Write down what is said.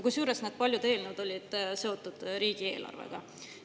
Kusjuures need paljud eelnõud olid seotud riigieelarvega.